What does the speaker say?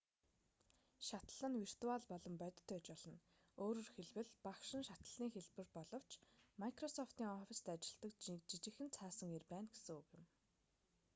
шатлал нь виртуал болон бодит байж болно өөрөөр хэлбэл багш нь шатлалын хэлбэр боловч майкрософтын оффистт ажилладаг жижигхэн цаасан эр байна гэсэн үг юм